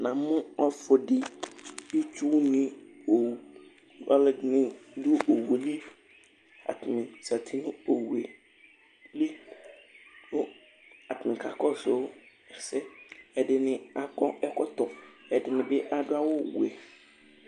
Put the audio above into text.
na mo ɔfu di itsu ni ponŋ ɔlo ɛdini do owu yɛ li atani zati no owu yɛ li kò atani ka kɔsu ɛsɛ ɛdini akɔ ɛkɔtɔ ɛdini bi adu awu wɛ